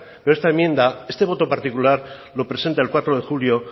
esta enmienda este voto particular lo presenta el cuatro de julio